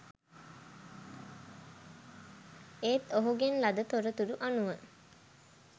ඒත් ඔහුගෙන් ලද තොරතුරු අනුව